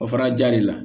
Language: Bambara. O fana ja de la